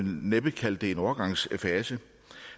næppe kalde det en overgangsfase